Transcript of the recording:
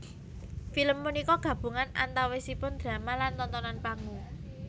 Film punika gabungan antawisipun drama lan tontonan panggung